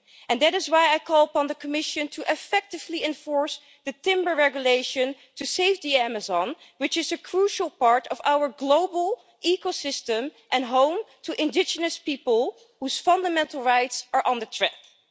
And that is why I call upon the Commission to effectively enforce the timber regulation to save the Amazon, which is a crucial part of our global ecosystem and home to indigenous people, whose fundamental rights are on the line.